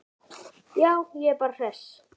Já, ég er bara hress.